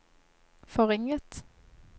forringet